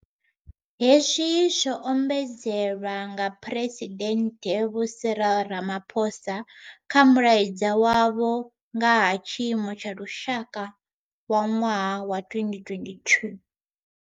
Hezwi zwo ombedzelwa nga Pheresidennde Vho Cyril Ramaphosa kha Mulaedza wavho wa nga ha Tshiimo tsha Lushaka wa ṅwaha wa 2022.